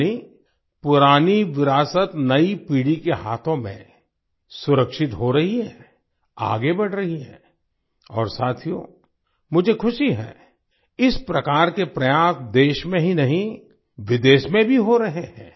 यानि पुरानी विरासत नई पीढ़ी के हाथों में सुरक्षित हो रही है आगे बढ़ रही है और साथियो मुझे ख़ुशी है इस प्रकार के प्रयास देश में ही नहीं विदेश में भी हो रहे हैं